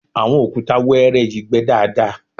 àwọn òkúta wẹ́ẹ́rẹ́ yìí gbẹ daadaa